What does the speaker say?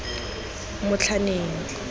motlhaneng